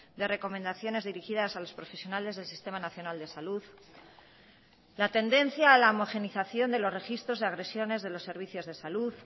de recomendaciones dirigidas a los profesionales del sistema nacional de salud la tendencia a la homogeneización de los registros de agresiones de los servicios de salud